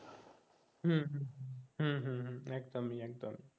হম হম হম হম একদমই একদমই